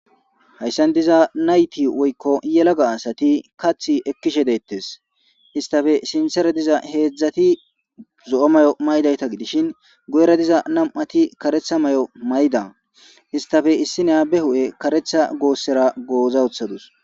hayssan diza nayti woykko yelaga asati kathi ekkishe deettes istafe sinthere diza heedzdzati zo7o may7o maydayta gidishin goera diza nam7ati karetha may7o mayda istafe issi neyabe hu7e karetha goossera goozawothadus